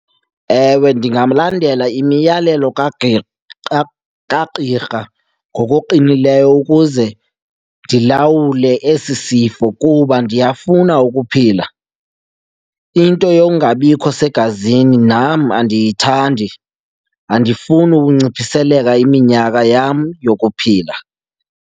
Ewe, ndingamlandela imiyalelo kagqirha ngokuqinileyo ukuze ndilawule esi sifo kuba ndiyafuna ukuphila. Into yongabikho segazini nam andiyithandi, andifuni ukunciphiseleka iminyaka yam yokuphila.